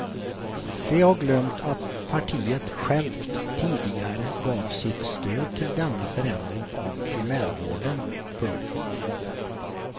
De har glömt att partiet självt tidigare gav sitt stöd till denna förändring av primärvården. punkt